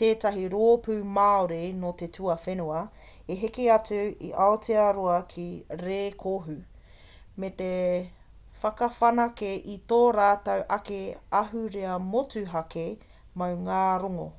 tētahi rōpū māori nō te tuawhenua i heke atu i aotearoa ki rēkohu me te whakawhanake i tō rātou ake ahurea motuhake maungārongo